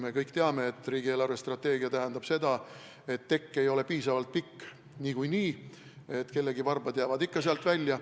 Me kõik teame, et riigi eelarvestrateegia tähendab seda, et tekk ei ole niikuinii piisavalt pikk, kellegi varbad jäävad ikka sealt välja.